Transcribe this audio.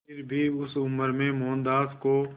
फिर भी उस उम्र में मोहनदास को